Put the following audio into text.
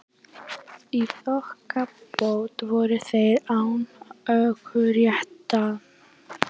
Í þokkabót voru þeir án ökuréttinda